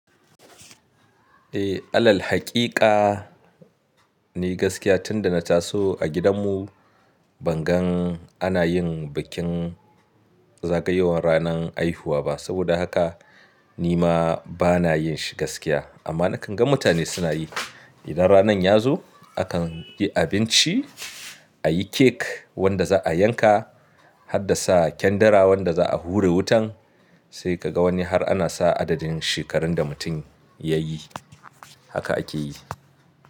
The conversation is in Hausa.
Eh, alal haqiqa ni gaskiya tunda na taso a gidan mu ban gan ana yin bikin zagayowan ranan haihuwa ba. Saboda haka ni ma bana yin shi gaskiya. Amma na kan ga mutane suna yi. Idan ranan ya zo akan yi abinci, a yi kek wanda za' a yanka har da sa kyandira wanda za' a hure wutan, sai ka ga wani har ana sa adadin shekaran da mutum ya yi. Haka ake yi.